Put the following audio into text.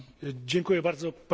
Panie Przewodniczący!